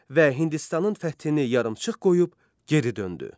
Və Hindistanın fəthini yarımçıq qoyub geri döndü.